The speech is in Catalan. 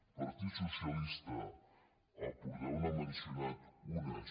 el partit socialista el portaveu n’ha mencionat unes